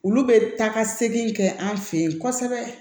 Olu bɛ taa ka segin kɛ an fɛ yen kosɛbɛ